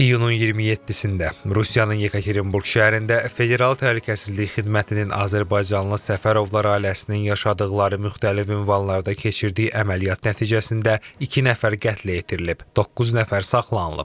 İyunun 27-də Rusiyanın Yekaterinburq şəhərində Federal Təhlükəsizlik Xidmətinin Azərbaycandan Səfərovlar ailəsinin yaşadıqları müxtəlif ünvanlarda keçirdiyi əməliyyat nəticəsində iki nəfər qətlə yetirilib, doqquz nəfər saxlanılıb.